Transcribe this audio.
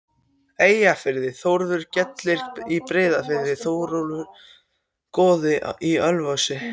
Eyjafirði, Þórður gellir í Breiðafirði, Þóroddur goði í Ölfusi.